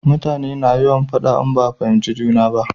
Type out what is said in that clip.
Mutane na yawan faɗa in ba a fahimci juna ba